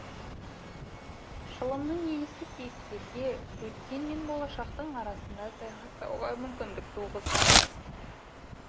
шылымның иісі кейіпкерге өткен мен болашақтың арасында саяхаттауға мүмкіндік туғызған